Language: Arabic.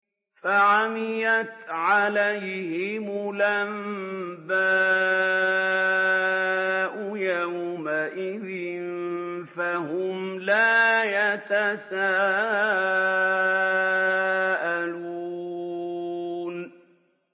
فَعَمِيَتْ عَلَيْهِمُ الْأَنبَاءُ يَوْمَئِذٍ فَهُمْ لَا يَتَسَاءَلُونَ